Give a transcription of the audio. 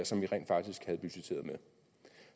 som vi rent faktisk havde budgetteret med